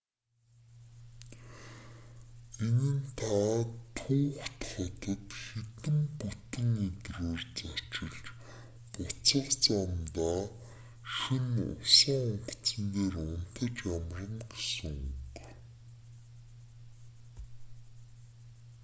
энэ нь та түүхэт хотод хэдэн бүтэн өдрөөр зочилж буцах замдаа шөнө усан онгоцон дээр унтаж амарна гэсэн үг